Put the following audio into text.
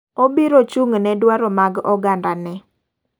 Obiro chung' ne dwaro mag oganda ne.